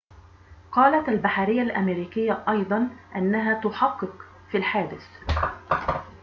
قالت البحرية الأمريكية أيضًا أنها تُحَقق في الحادثِ